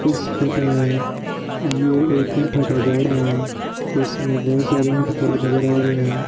इस फोटो में ये एक ऊंट का बाड़ा है इसमें बहोत सारी ऊंट खड़े नजर आ रहे है।